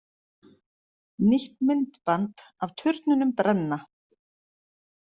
Nýtt myndband af turnunum brenna